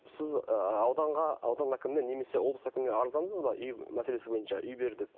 сіз ы ауданға аудан әкіміне немесе облыс әкіміне арыздандыңыз ба үй мәселесі бойынша үй бер деп